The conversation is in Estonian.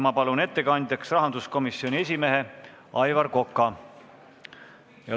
Ma palun ettekandjaks rahanduskomisjoni esimehe Aivar Koka.